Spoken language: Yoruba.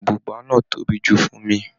Bùbá náà tóbi jù fún mi.